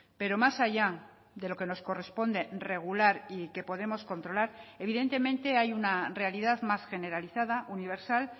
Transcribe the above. pero más allá de lo que nos corresponde regular y que podemos controlar evidentemente hay una realidad más generalizada universal